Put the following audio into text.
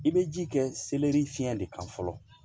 I bɛ ji kɛ selɛri fiɲɛ de kan fɔlɔ